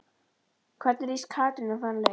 Hvernig líst Katrínu á þann leik?